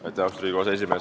Austatud Riigikogu aseesimees!